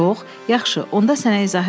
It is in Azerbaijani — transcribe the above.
Yox, yaxşı, onda sənə izah eləyim.